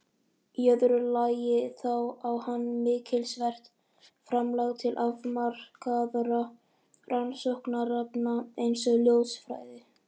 Í öðru lagi þá á hann mikilsvert framlag til afmarkaðra rannsóknarefna eins og ljósfræði.